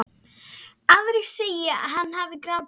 Aðra segir hann hafa grátið.